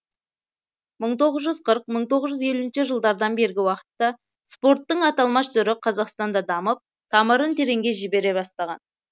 мың тоғыз жүз қырық мың тоғыз жүз елуінші жылдардан бергі уақытта спорттың аталмыш түрі қазақстанда дамып тамырын тереңге жібере бастаған